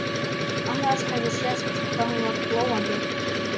Annars hefði sést hvað hún var glóandi.